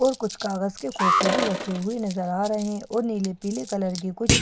और कुछ कागज के खोके भी रखे हुए नजर आ रहे हैं और नीले पीले कलर की कुछ साड़ियाँ --